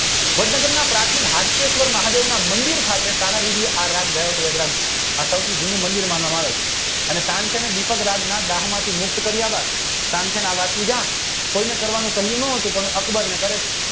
વડનગરના પ્રાચીન હાટકેશ્વર મહાદેવ મંદિર ખાતે તાનાજી આરામ અદાયક આ સૌ થી જૂનું મંદિર અને તાનસેને દિપક રાજના દાહ માંથી મુક્ત કાર્ય તાનસેન આવ વાતનું જાણ કોઈને કરવાનું કહી ન હતું પણ અકબર